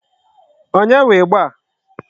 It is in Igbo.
Onye nwe ịgba a?